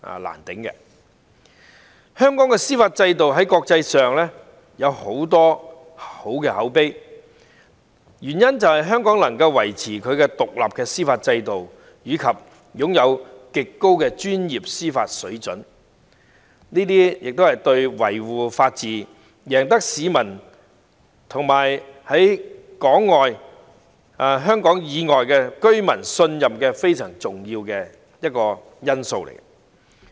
香港的司法制度在國際上有很好的口碑，原因是香港能夠維持獨立的司法制度，並擁有極高的專業司法水平，在在都對維護法治及贏取市民和香港以外居民的信任非常重要。